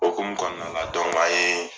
Okumu kɔnɔna la dɔnku an yee